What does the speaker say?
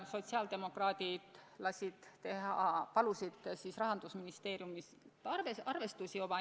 Sotsiaaldemokraadid palusid Rahandusministeeriumilt oma eelnõuga seotud arvestusi.